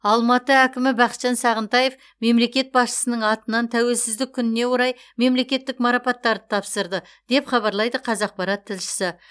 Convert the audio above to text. алматы әкімі бақытжан сағынтаев мемлекет басшысының атынан тәуелсіздік күніне орай мемлекеттік марапаттарды тапсырды деп хабарлайды қазақпарат тілшісі